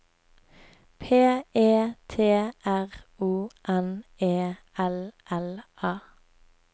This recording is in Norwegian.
P E T R O N E L L A